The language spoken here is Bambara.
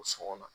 O sɔngɔn na